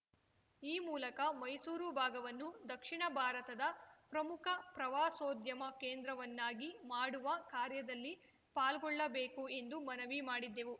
ಈ ಮೂಲಕ ಮೈಸೂರು ಭಾಗವನ್ನು ದಕ್ಷಿಣ ಭಾರತದ ಪ್ರಮುಖ ಪ್ರವಾಸೋದ್ಯಮ ಕೇಂದ್ರವನ್ನಾಗಿ ಮಾಡುವ ಕಾರ್ಯದಲ್ಲಿ ಪಾಲ್ಗೊಳ್ಳಬೇಕು ಎಂದು ಮನವಿ ಮಾಡಿದ್ದೆವು